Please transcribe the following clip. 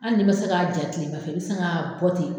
Ali n'i ma se k'a ja tilema fɛ, i bɛ se k'a bɔ ten.